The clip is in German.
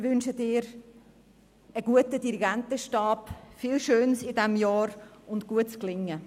Ich wünsche Ihnen einen guten Dirigentenstab, viel Schönes in diesem Jahr und gutes Gelingen.